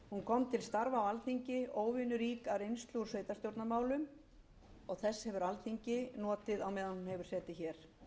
til starfa á alþingi óvenjurík af reynslu úr sveitarstjórnarmálum og þess hefur alþingi notað á meðan hún hefur setið hér